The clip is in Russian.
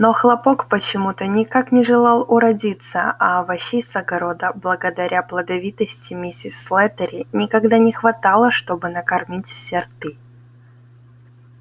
но хлопок почему-то никак не желал уродиться а овощей с огорода благодаря плодовитости миссис слэттери никогда не хватало чтобы накормить все рты